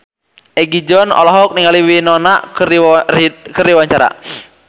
Egi John olohok ningali Winona Ryder keur diwawancara